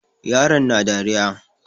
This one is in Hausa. Yaron na dariya.